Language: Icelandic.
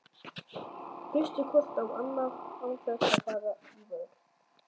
Hlustið hvort á annað án þess að fara í vörn.